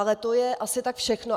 Ale to je asi tak všechno.